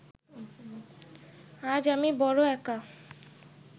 আজ আমি বড় একা